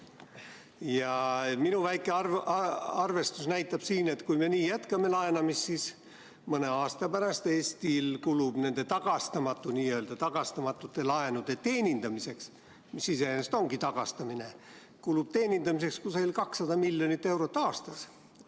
Ja minu väike arvestus näitab, et kui me jätkame nii laenamist, siis mõne aasta pärast kulub Eestil nende n-ö tagastamatute laenude teenindamiseks, mis iseenesest ongi tagastamine, kusagil 200 miljonit eurot aastas.